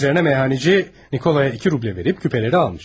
Bunun üzərinə meyxancı Nikolaya iki rublə verib küpələri almış.